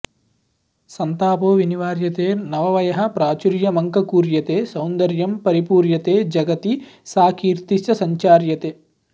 सन्तापो विनिवार्यते नववयःप्राचुर्यमङ्कूर्यते सौन्दर्यं परिपूर्यते जगति सा कीर्तिश्च संचार्यते